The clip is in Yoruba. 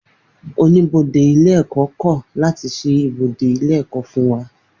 Oníbodè ilé ẹ̀kọ́ kọ̀ láti ṣí ibodè ilé ẹ̀kọ́ fún wa.